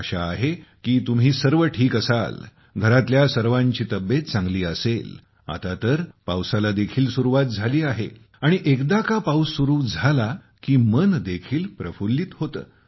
आशा आहे की तुम्ही सर्व ठीक असाल घरातील सर्वांची तब्येत चांगली असेल आता तर पावसाला देखील सुरुवात झाली आहे आणि एकदा का पाउस सुरु झाला की मन देखील प्रफुल्लीत होते